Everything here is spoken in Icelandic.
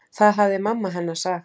Það hafði mamma hennar sagt.